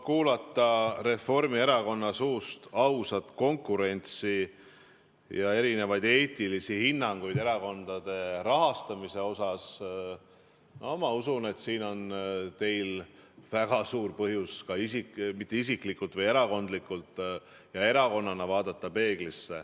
Kuulda Reformierakonna suust, et "aus konkurents" ja "eetilised hinnangud" erakondade rahastamise kohta – ma usun, et siin on teil väga suur põhjus ka erakonnana peeglisse vaadata.